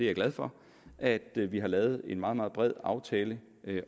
er glad for at vi har lavet en meget meget bred aftale